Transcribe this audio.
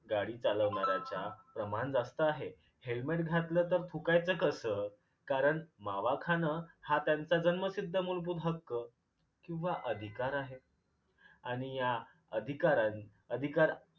गाडी चालवण्याऱ्याच्या प्रमाण जास्त आहे. helmet घातल तर थुकायचं कसं? कारण मावा खानं हा त्यांचा जन्मसिद्ध मुलभूत हक्क किंवा अधिकार आहे आणि या अधिकारन अधिकार